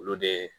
Olu de